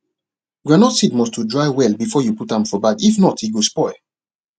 groundnut seed must to dry well before you put am for bag if not e go spoil